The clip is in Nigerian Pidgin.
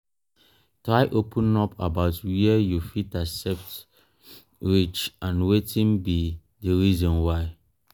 try open up about were you fit accept reach and wetin be di reason why